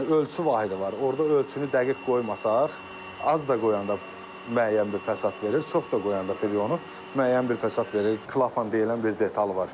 Yəni ölçü vahidi var, orada ölçünü dəqiq qoymasaq, az da qoyanda müəyyən bir fəsad verir, çox da qoyanda firyonu müəyyən bir fəsad verir, klapan deyilən bir detal var.